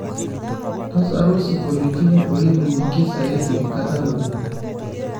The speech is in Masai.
tasaru siongoilitin oiningiki zaidi kata nabo